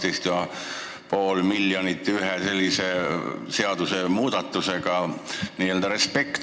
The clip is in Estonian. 12,5 miljonit ühe seadusmuudatusega – respekt!